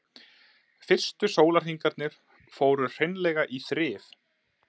Fyrstu sólarhringarnir fóru hreinlega í þrif.